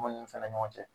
Munnu fɛnɛ ɲɔgɔn cɛ